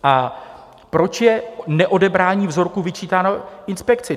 A proč je neodebrání vzorků vyčítáno inspekci?